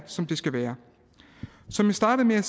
som de skal være som jeg startede med at